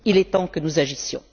Il est temps que nous agissions.